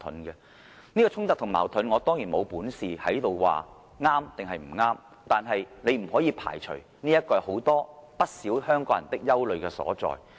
有關的衝突和矛盾，我當然沒有本事在這裏評論對錯，但大家不可以排除，這是很多香港人的憂慮所在。